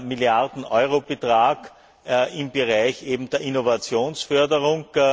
Milliarden Euro Betrag im Bereich der Innovationsförderung.